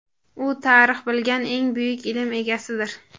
"U tarix bilgan eng buyuk ilm egasidir".